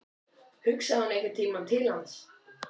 Hugsaði hún einhvern tímann til hans?